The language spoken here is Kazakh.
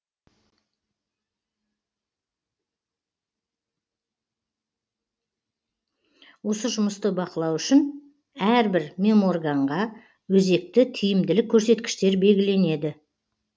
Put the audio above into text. осы жұмысты бақылау үшін әрбір меморганға өзекті тиімділік көрсеткіштер белгіленеді